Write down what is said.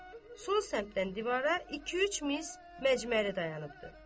Sol səmtdən divara iki-üç mis məcməri dayanır.